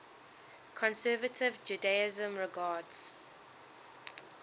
conservative judaism regards